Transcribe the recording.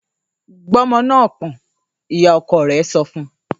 ‘Gbé o̩mo̩ náà pò̩n!’, ìyá-o̩ko̩ rè̩ so̩ fun